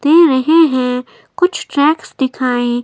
दे रहे हैं कुछ ट्रैक्स दिखाई--